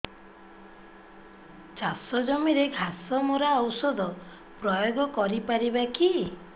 ଚାଷ ଜମିରେ ଘାସ ମରା ଔଷଧ ପ୍ରୟୋଗ କରି ପାରିବା କି